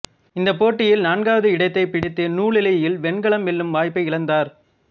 இந்தப் போட்டியில் நாகாகாவது இடத்தைப் பிடித்து நூலிழையில் வெண்கலம் வெல்லும் வாய்ப்பை இழந்தார்